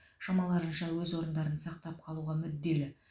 шамаларынша өз орындарын сақтап қалуға мүдделі